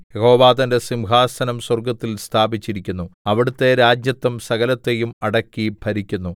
യഹോവ തന്റെ സിംഹാസനം സ്വർഗ്ഗത്തിൽ സ്ഥാപിച്ചിരിക്കുന്നു അവിടുത്തെ രാജത്വം സകലത്തെയും അടക്കി ഭരിക്കുന്നു